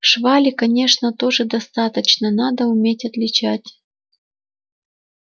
швали конечно тоже достаточно надо уметь отличать